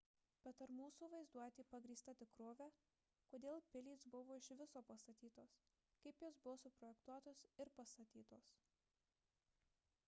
bet ar mūsų vaizduotė pagrįsta tikrove kodėl pilys buvo iš viso pastatytos kaip jos buvo suprojektuotos ir pastatytos